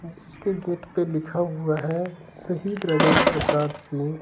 जिसके गेट पर लिखा हुआ है शहीद राजेंद्र प्रसाद सिंह।